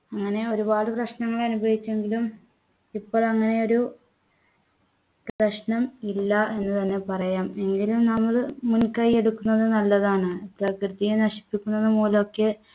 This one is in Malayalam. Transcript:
അങ്ങനെ ഒരുപാട് പ്രശ്നങ്ങൾ അനുഭവിച്ചെങ്കിലും ഇപ്പൊ അങ്ങനെ ഒരു പ്രശ്നം ഇല്ല എന്ന് തന്നെ പറയാം എങ്കിലും നമ്മൾ മുൻകൈയെടുക്കുന്നത് നല്ലതാണ് പ്രകൃതിയെ നശിപ്പിക്കുന്നത് മൂലമൊക്കെ